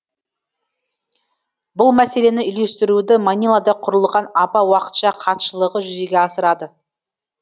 бұл мәселені үйлестіруді манилада құрылған апа уақытша хатшылығы жүзеге асырады